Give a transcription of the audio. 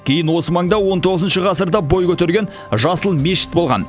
кейін осы маңда он тоғызыншы ғасырда бой көтерген жасыл мешіт болған